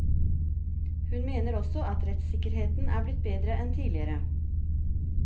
Hun mener også at rettssikkerheten er blitt bedre enn tidligere.